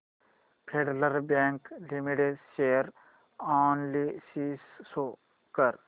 federal Bank Limited share analysis show कर